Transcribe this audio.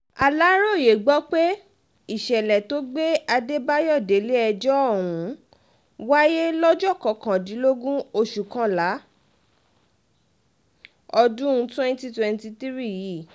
aláròye gbọ́ pé ìṣẹ̀lẹ̀ tó gbé adébáyò délé ẹjọ́ ọ̀hún wáyé lọ́jọ́ kọkàndínlógún oṣù kọkànlá ọdún twenty twenty three yìí